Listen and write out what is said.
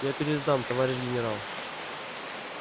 я пересдам товарищ генерал